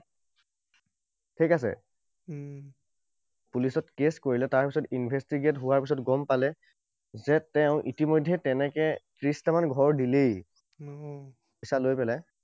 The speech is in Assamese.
ঠিক আছে? পুলিচত case কৰিলে, তাৰপিছত investigate হোৱাৰ পিছত গম পালে যে তেওঁ ইতিমধ্যে তেনেকৈ ত্ৰিশটামান ঘৰ দিলেই, পইছা লৈ পেলাই।